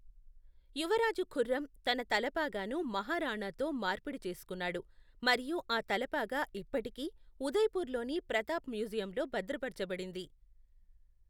యువరాజు ఖుర్రం తన తలపాగాను మహారాణాతో మార్పిడి చేసుకున్నాడు మరియు ఆ తలపాగా ఇప్పటికీ ఉదయపూర్లోని ప్రతాప్ మ్యూజియంలో భద్రపరచబడింది.